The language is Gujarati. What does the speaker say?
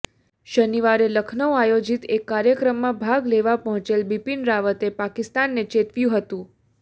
શનિવારે લખનૌ આયોજીત એક કાર્યક્રમમાં ભાગ લેવા પહોંચેલ બિપિન રાવતે પાકિસ્તાનને ચેતવ્યું હતું